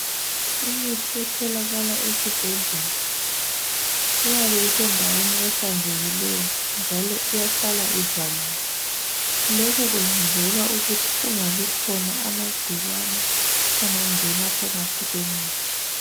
Imithi etholakala esibhedlela iyabe isendaweni ehlanzekileyo njalo ihlala ivaliwe. lokhu kwenzelwa ukuthi kungabi khona amangcikwane angangena phakathi kwemithi.